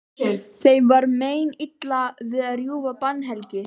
Þeim var meinilla við að rjúfa bannhelgi